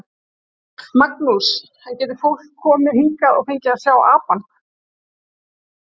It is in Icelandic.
Magnús: En getur fólk komið hingað og fengið að sjá apann?